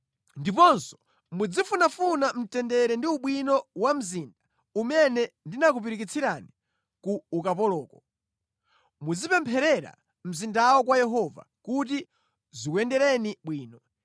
Ndiponso muzifunafuna mtendere ndi ubwino wa mzinda umene ndinakupirikitsirani ku ukapoloko. Muzipempherera mzindawo kwa Yehova, kuti zikuyendereni bwino.”